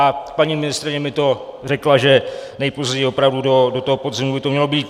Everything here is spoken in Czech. A paní ministryně mi to řekla, že nejpozději opravdu do toho podzimu by to mělo být.